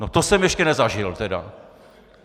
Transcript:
No to jsem ještě nezažil teda!